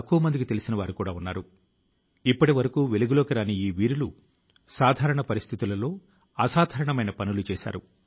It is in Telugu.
అయితే సహచరులారా ఈ మహమ్మారి ని ఓడించడానికి పౌరులు గా మన స్వీయ ప్రయత్నం చాలా ముఖ్యం అని గత రెండేళ్లుగా మన అనుభవం చెప్తోంది